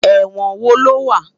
Èwòn wó ló wá?